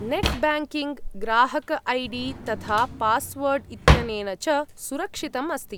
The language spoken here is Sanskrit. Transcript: नेट् ब्याङ्किङ्ग्, ग्राहक ऐ डी तथा पास्वर्ड् इत्यनेन च सुरक्षितम् अस्ति।